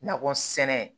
Nakɔ sɛnɛ